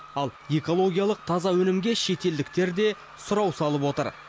ал экологиялық таза өнімге шетелдіктер де сұрау салып отыр